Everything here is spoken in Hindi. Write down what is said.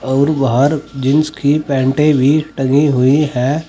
और बाहर जींस की पैंटें भी टंगी हुई हैं।